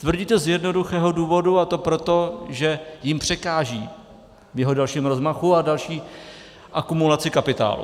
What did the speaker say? Tvrdí to z jednoduchého důvodu, a to proto, že jim překáží v jeho dalším rozmachu a další akumulaci kapitálu.